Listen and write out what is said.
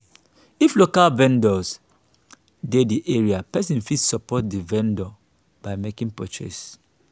if local vendor dey di area person fit support di vendor by making purchase